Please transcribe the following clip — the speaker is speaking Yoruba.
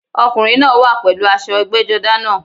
Ọkùnrin náá wà pèlú aṣọ ẹgbẹ́jọdá náà